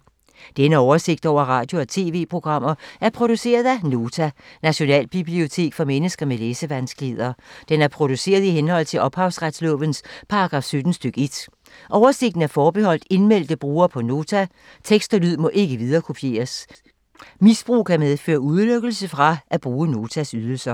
Denne oversigt over radio og TV-programmer er produceret af Nota, Nationalbibliotek for mennesker med læsevanskeligheder. Den er produceret i henhold til ophavsretslovens paragraf 17 stk. 1. Oversigten er forbeholdt indmeldte brugere på Nota. Tekst og lyd må ikke viderekopieres. Misbrug kan medføre udelukkelse fra at bruge Notas ydelser.